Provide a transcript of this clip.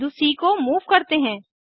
बिंदु सी को मूव करते हैं